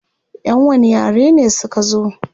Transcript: Yan wani yare ne suka zo?